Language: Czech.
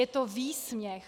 Je to výsměch!